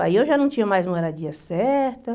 Aí eu já não tinha mais moradia certa.